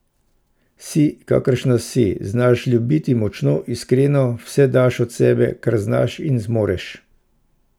Si, kakršna si, znaš ljubiti močno, iskreno, vse daš od sebe, kar znaš in zmoreš.